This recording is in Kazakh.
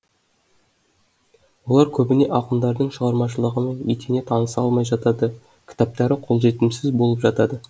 олар көбіне ақындардың шығармашылығымен етене таныса алмай жатады кітаптары қолжетімсіз болып жатады